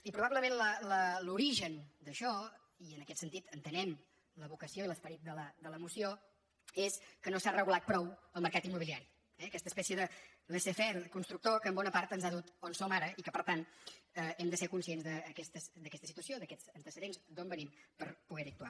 i probablement l’origen d’això i en aquest sentit entenem la vocació i l’esperit de la moció és que no s’ha regulat prou el mercat immobiliari eh aquesta espècie de laissez faireens ha dut on som ara i per tant hem de ser cons·cients d’aquesta situació d’aquests antecedents d’on venim per poder·hi actuar